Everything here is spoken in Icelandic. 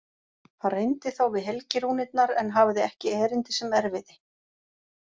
Hann reyndi þá við helgirúnirnar en hafði ekki erindi sem erfiði.